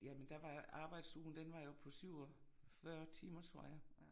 Jamen der var arbejdsugen den var jo på 47 timer tror jeg